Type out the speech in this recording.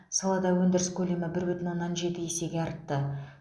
салада өндіріс көлемі бір бүтін оннан жеті есе артты